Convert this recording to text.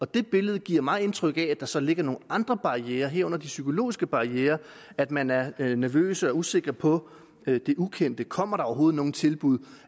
det billede giver mig indtryk af at der så ligger nogle andre barrierer herunder de psykologiske barrierer at man er nervøs og usikker på det ukendte kommer der overhovedet nogen tilbud